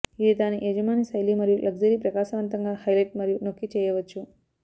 ఇది దాని యజమాని శైలి మరియు లగ్జరీ ప్రకాశవంతంగా హైలైట్ మరియు నొక్కి చేయవచ్చు